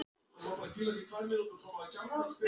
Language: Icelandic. Norðuráls á Grundartanga að stefna að stækkun